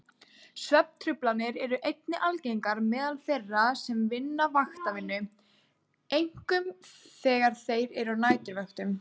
Svefntruflanir eru einnig algengar meðal þeirra sem vinna vaktavinnu, einkum þegar þeir eru á næturvöktum.